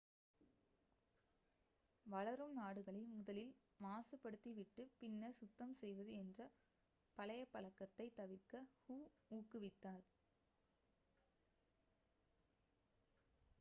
"வளரும் நாடுகளை "முதலில் மாசுபடுத்திவிட்டு பின்னர் சுத்தம் செய்வது என்ற பழைய பழக்கத்தை தவிர்க்க" ஹூ ஊக்குவித்தார்.